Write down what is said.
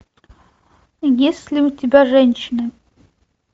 есть ли у тебя женщина